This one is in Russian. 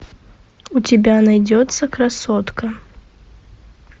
у тебя найдется красотка